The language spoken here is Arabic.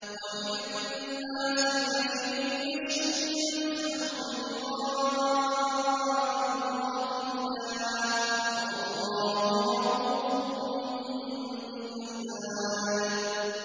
وَمِنَ النَّاسِ مَن يَشْرِي نَفْسَهُ ابْتِغَاءَ مَرْضَاتِ اللَّهِ ۗ وَاللَّهُ رَءُوفٌ بِالْعِبَادِ